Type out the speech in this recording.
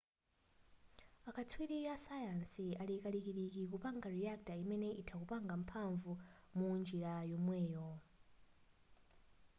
a katswiri a sayansi ali kalikiliki kupanga reactor imene itha kupanga mphanvu munjira yomweyo